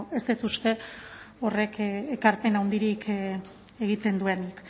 ez dut uste horrek ekarpen handirik egiten duenik